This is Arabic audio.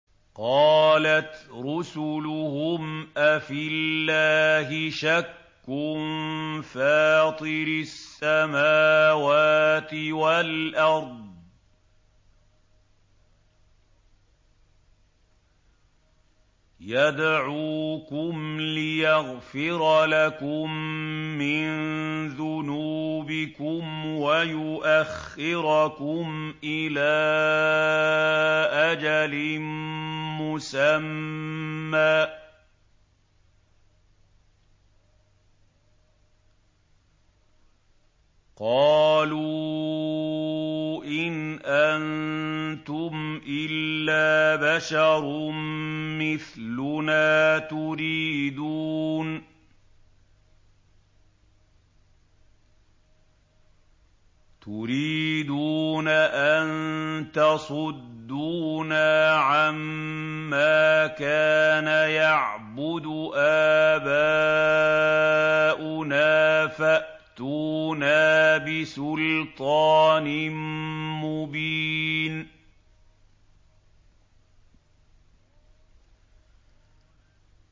۞ قَالَتْ رُسُلُهُمْ أَفِي اللَّهِ شَكٌّ فَاطِرِ السَّمَاوَاتِ وَالْأَرْضِ ۖ يَدْعُوكُمْ لِيَغْفِرَ لَكُم مِّن ذُنُوبِكُمْ وَيُؤَخِّرَكُمْ إِلَىٰ أَجَلٍ مُّسَمًّى ۚ قَالُوا إِنْ أَنتُمْ إِلَّا بَشَرٌ مِّثْلُنَا تُرِيدُونَ أَن تَصُدُّونَا عَمَّا كَانَ يَعْبُدُ آبَاؤُنَا فَأْتُونَا بِسُلْطَانٍ مُّبِينٍ